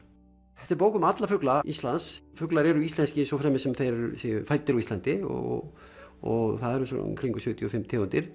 þetta er bók um alla fugla Íslands fuglar eru íslenskir svo fremi sem þeir séu fæddir á Íslandi og og það eru í kringum sjötíu og fimm tegundir